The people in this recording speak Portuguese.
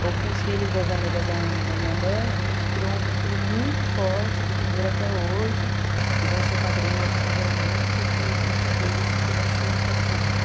ou com os filhos das amigas da da minha mãe, a gente criou um vínculo muito forte que pendura até hoje, que vão ser padrinhos de casamento e que tenho certeza que vai ser para sempre.